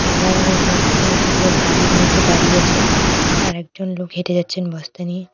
সাদা রঙের বস্তা একজন লোক গাড়ির মধ্যে দাঁড়িয়ে আছেন আর একজন লোক হেঁটে যাচ্ছেন বস্তা নিয়ে।